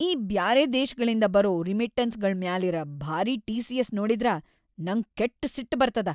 ಈ ಬ್ಯಾರೆ ದೇಶ್ಗಳಿಂದ ಬರೋ ರಿಮಿಟ್ಟನ್ಸ್‌ಗಳ್ ಮ್ಯಾಲಿರ ಭಾರಿ ಟಿ.ಸಿ.ಎಸ್. ನೋಡಿದ್ರ ನಂಗ್ ಕೆಟ್ಟ್‌ ಸಿಟ್‌ ಬರ್ತದ.